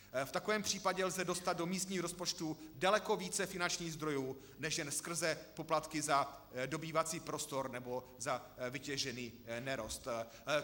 V takovém případě lze dostat do místních rozpočtů daleko více finančních zdrojů než jen skrze poplatky za dobývací prostor nebo za vytěžený nerost.